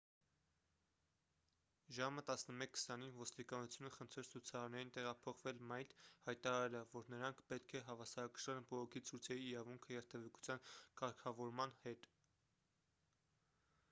ժամը 11:20-ին ոստիկանությունը խնդրեց ցուցարարներին տեղափոխվել մայթ՝ հայտարարելով որ նրանք պետք է հավասարակշռեն բողոքի ցույցերի իրավունքը երթևեկության կարգավորման հետ: